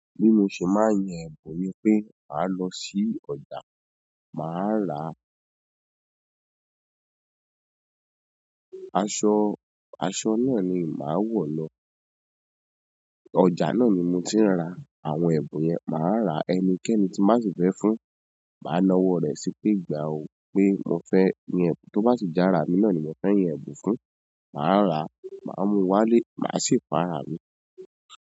Bí mo ṣe n máa ń yan ẹ̀bùn ni pé màá lọ sí ọjà, màá ra aṣọ, aṣọ náà ni màá wo lo. Ọjà náà ni mo ti ń ra àwọn ẹ̀bùn yẹn. Màá rà ẹni kẹ́ẹ́ni tí mbá sì fẹ́ fún, màá na ọwọ́ rẹ̀ sí pé gba ò pé mo fẹ́ yin ẹ̀bùn, tó bá sì já rà mí náà ni mo fẹ́ yin ẹ̀bùn fún, màá rà, màá mú wá lé, màá sì fún árámi.